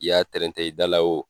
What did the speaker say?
I y'a trɛntɛ i dala